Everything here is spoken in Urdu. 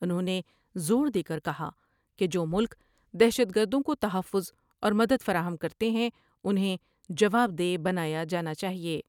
انھوں نے زور دے کر کہا ہے کہ جو ملک دہشت گردوں کو تحفظ اور مددفراہم کرتے ہیں انھیں جوابدہ بنایا جانا چاہئے ۔